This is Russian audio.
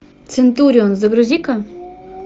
центурион загрузи ка